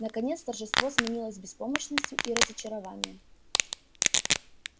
наконец торжество сменилось беспомощностью и разочарованием